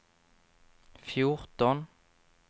fjorton